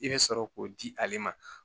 I bɛ sɔrɔ k'o di ale ma